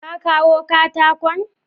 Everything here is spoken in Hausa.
Ka kawo katakon?